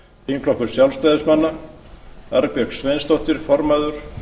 þingflokkur sjálfstæðismanna arnbjörg sveinsdóttir formaður